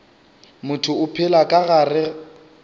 motho o phela ka gare